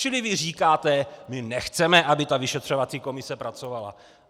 Čili vy říkáte: my nechceme, aby ta vyšetřovací komise pracovala.